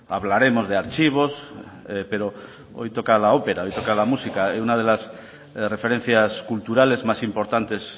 hablaremos de archivos pero hoy toca la ópera hoy toca la música una de las referencias culturales más importantes